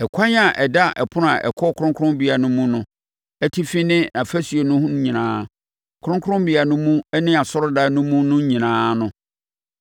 Ɛkwan a ɛda ɛpono a ɛkɔ kronkronbea nu mu no atifi ne afasuo no ho nyinaa, kronkrommea no mu ne asɔredan no mu no nyinaa no,